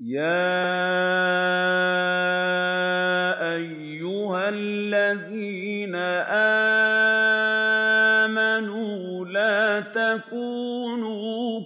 يَا أَيُّهَا الَّذِينَ آمَنُوا لَا تَكُونُوا